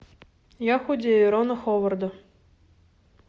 я худею рона ховарда